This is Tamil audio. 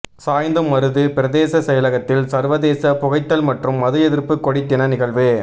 சாய்ந்தமருது பிரதேச செயலகத்தில் சர்வதேச புகைத்தல் மற்றும் மது எதிர்ப்பு கொடி தின நிகழ்வு